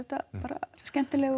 bara skemmtileg